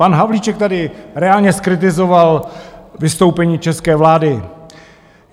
Pan Havlíček tady reálně zkritizoval vystoupení české vlády.